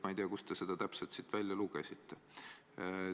Ma ei tea, kust te selle kohustuslikkuse siit välja lugesite.